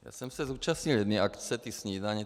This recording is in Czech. Já jsem se zúčastnil jedné akce, té snídaně.